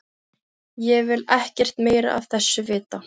Ég vil ekkert meira af þessu vita.